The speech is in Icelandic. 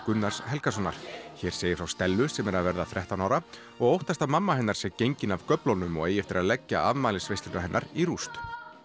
Gunnars Helgasonar hér segir frá Stellu sem er að verða þrettán ára og óttast að mamma hennar sé gengin af göflunum og eigi eftir að leggja afmælisveisluna hennar í rúst